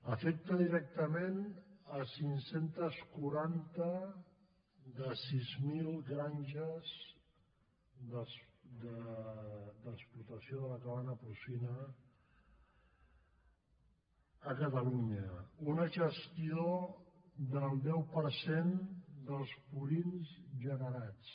afecta directament cinc cents i quaranta de sis mil granges d’explotació de la cabanya porcina a catalunya una gestió del deu per cent dels purins generats